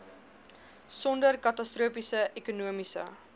sonder katastrofiese ekonomiese